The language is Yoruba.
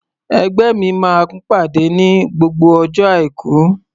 Ẹgbẹ́ mi máa ń pàdé ní gbogbo ọjọ́ Àìkú.